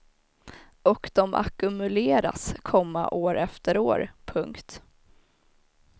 Och de ackumuleras, komma år efter år. punkt